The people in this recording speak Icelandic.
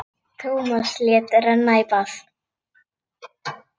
Tómas lét renna í bað.